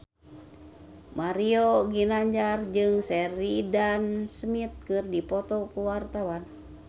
Mario Ginanjar jeung Sheridan Smith keur dipoto ku wartawan